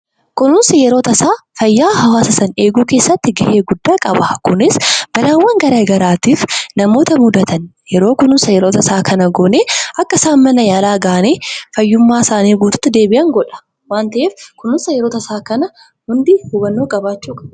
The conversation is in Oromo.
Kunuunsi yeroo tasaa eeguu keessatti gahee guddaa qaba. Kunis balaawwan garaagaraatiif namoota mudatan yeroo kunuunsa tasaa kana goone akka isaan mana yaalaa gahanii fayyummaa isaanii duriitti deebi'an qaba. Kanaaf kunuunsa yeroo tasaa hubannoo isaa qabaachuu qabna.